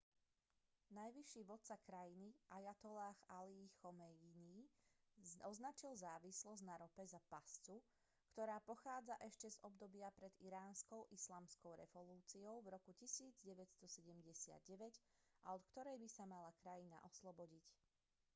najvyšší vodca krajiny ajatolláh alí chomejní označil závislosť na rope za pascu ktorá pochádza ešte z obdobia pred iránskou islamskou revolúciou v roku 1979 a od ktorej by sa mala krajina oslobodiť